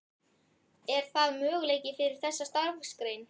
Er það möguleiki fyrir þessa starfsgrein?